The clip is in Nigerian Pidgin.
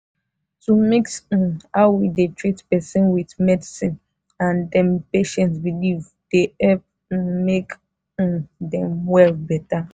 to mix um how we dey treat person with medicine and dem patient belief dey help um make um dem well better.